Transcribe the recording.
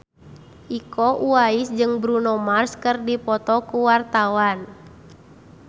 Iko Uwais jeung Bruno Mars keur dipoto ku wartawan